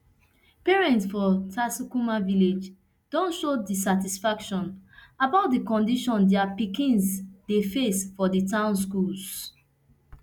parents for tsakuwa village don show dissatisfaction about di condition dia pikins dey face for di town schools